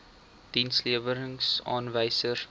dienslewerings aanwysers werklike